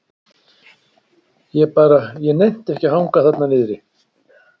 Ég bara. ég nennti ekki að hanga þarna niðri.